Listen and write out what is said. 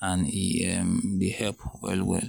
and e um dey help well well.